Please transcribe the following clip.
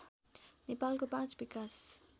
नेपालको पाँच विकास